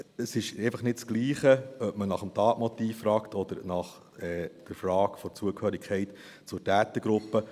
Es ist einfach nicht dasselbe, ob man nach dem Tatmotiv fragt oder nach der Frage der Zugehörigkeit zur Opfergruppe.